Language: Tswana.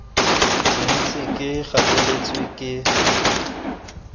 ke ntse ke gateletswe ke